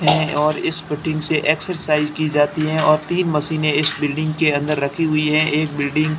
है और इस से एक्सरसाइज की जाती है और तीन मशीने इस बिल्डिंग के अंदर रखी हुई है एक बिल्डिंग --